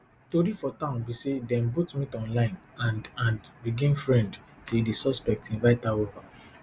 tori for town be say dem both meet online and and begin friend till di suspect invite her over